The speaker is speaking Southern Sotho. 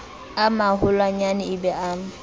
a maholwanyane e be a